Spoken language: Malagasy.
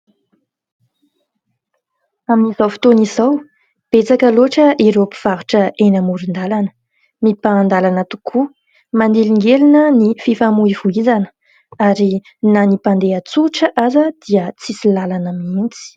Amin'izao fotoana izao betsaka loatra ireo mpivarotra eny amoron-dalana, mibahandalana tokoa manelingelina ny fifamoivoizana ary na ny mpandeha tsotra aza dia tsy misy lalana mihitsy.